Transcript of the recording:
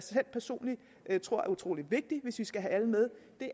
personligt tror er utrolig vigtigt hvis vi skal have alle med